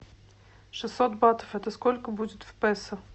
шестьсот батов это сколько будет в песо